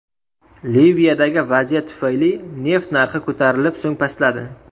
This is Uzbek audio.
Liviyadagi vaziyat tufayli neft narxi ko‘tarilib, so‘ng pastladi .